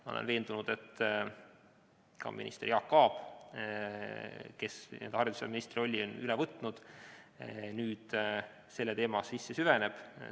Ma olen veendunud, et Jaak Aab, kes on haridusministri rolli üle võtnud, nüüd sellesse teemasse süveneb.